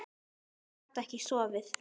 Ég gat ekki sofið.